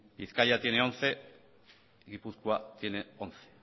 bizkaia tiene once gipuzkoa tiene once